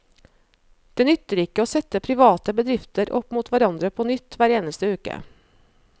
Det nytter ikke å sette private bedrifter opp mot hverandre på nytt hver eneste uke.